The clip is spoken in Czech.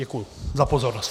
Děkuji za pozornost.